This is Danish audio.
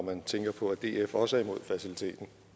man tænker på at df også er imod faciliteten